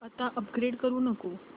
आता अपग्रेड करू नको